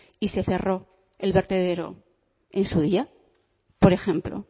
y se cerró el vertedero en su día por ejemplo